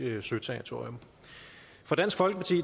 søterritorium for dansk folkeparti